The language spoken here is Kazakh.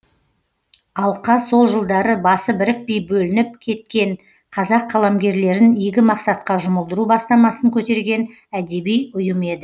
алқа сол жылдары басы бірікпей бөлініп кеткен қазақ қаламгерлерін игі мақсатқа жұмылдыру бастамасын көтерген әдеби ұйым еді